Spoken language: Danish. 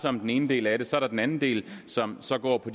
om den ene del af det så er der den anden del som så går på